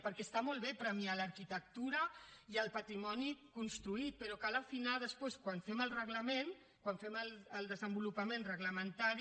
perquè està molt bé premiar l’arquitectura i el patrimoni construït però cal afinar després quan fem el reglament quan fem el desenvolupament reglamentari